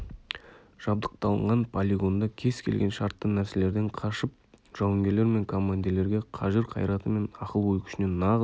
жабдықталынған полигонда кез келген шартты нәрселерден қашып жауынгерлер мен командирлерге қажыр-қайраты мен ақыл-ой күшіне нағыз